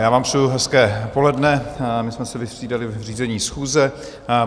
Já vám přeji hezké poledne, my jsme se vystřídali v řízení schůze.